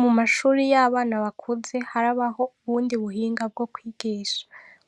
Mu mashure y'abana bakuze harabaho ubundi buhinga bwo kwigisha.